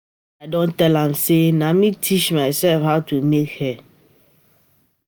I don tell am sey na me teach myself how to make hair.